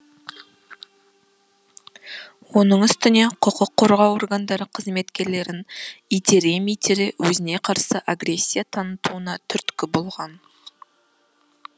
оның үстіне құқық қорғау органдары қызметкерлерін итере митере өзіне қарсы агрессия танытуына түрткі болған